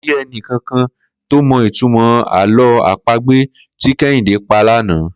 Kò sí e̩ni kankan tó mo̩ ìtumò̩ àló̩ àpagbè tí Ké̩hìndé pa lánàá